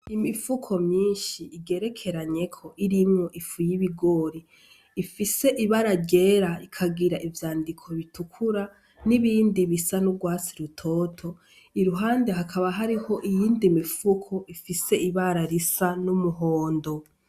Imifuko myinshi igerekeranyeko irimwo ifu y'ibigori, ifise ibara ryera ikagira ivyandiko bitukura nibindi bisa n'urwatsi rutoto, iruhande hakaba hariho iyindi mifuko ifise ibara risa n'umuhondo.